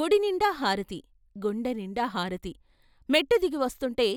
గుడినిండా హారతి, గుండెనిండా హారతి, మెట్టుదిగి వస్తుంటే